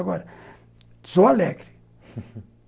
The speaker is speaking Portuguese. Agora, sou alegre